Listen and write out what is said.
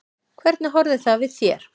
Hvernig horfði það við þér?